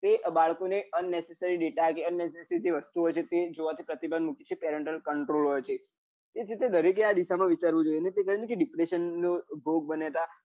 કે બાળકો ને unnecessary delta કે unnecessary જે વસ્તુ હોય છે એ જોવાથી પ્રતિબંદ મુક્યો છે control હોય છે તેથી દરેકે આ વિશે વિચારવું જોઈએ કે depression નો ભોગ બન્યા તા